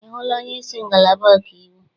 Ị hụla onyeisi ngalaba ọkaiwu?